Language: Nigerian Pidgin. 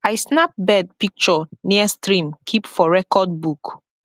i snap bird picture near stream keep for record book